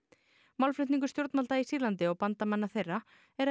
málflutningur stjórnvalda í Sýrlandi og bandamanna þeirra er að